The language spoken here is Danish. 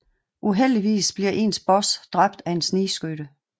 Uheldigvis bliver ens boss dræbt af en snigskytte